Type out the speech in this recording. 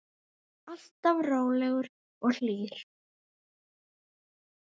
Alltaf rólegur og hlýr.